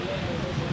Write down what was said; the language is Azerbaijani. Bəy bəy.